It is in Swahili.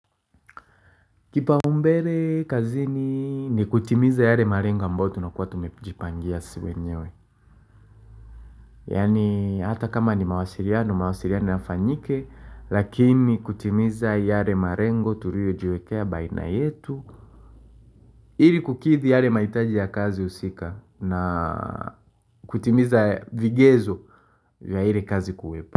Kipaumbele kazini ni kutimiza yare marengo ambayo tunakuwa tumepijipangia si wenyewe. Yaani, hata kama ni mawasiriano mawasiriano yafanyike lakini kutimiza yare marengo tuliyojiwekea baina yetu iri kukithi yare maitaji ya kazi husika na kutimiza vigezo vya ile kazi kuwepo.